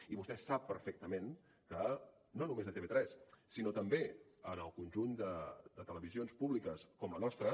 i vostè sap perfectament que no només a tv3 sinó també en el conjunt de televisions públiques com la nostra